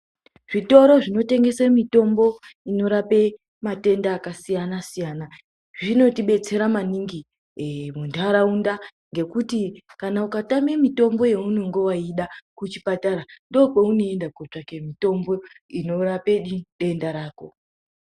Zvitoro zvinotengesa mitombo inorape matenda akasiyana siyana zvinotibetsera maningi muntaraunda ngekuti kana ukatame mitombo yaunenge weida kuchipatara ndiko kweunoenda kotsvake mitombo inorape denda rako.